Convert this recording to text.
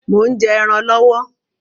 Mò ń jẹ́ ẹran lọwọ